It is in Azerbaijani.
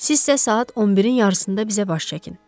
Sizsə saat 11-in yarısında bizə baş çəkin.